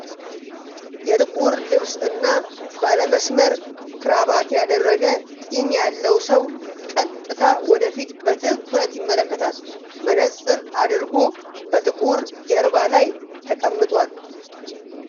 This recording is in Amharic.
የጥቁር ልብስ እና ባለ መስመር ክራባት ያደረገ ጢም ያለው ሰው ቀጥታ ወደ ፊት በትኩረት ይመለከታል። መነፅር አድርጎ በጥቁር ጀርባ ላይ ተቀምጧል።